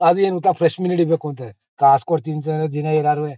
ಅದು ಏನ್ ಗೊತ್ತಾ ಫ್ರೆಶ್ ಮೀನು ಹಿಡಿ ಬೇಕು ಅಂದಿ. ಕಾಸ್ ಕೊಡ್ತೀನಿ ಸರ್ ದಿನಾ ಎನಾರುವೇ.